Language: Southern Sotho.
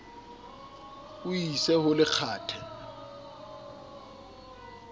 o e ise ho lekgathe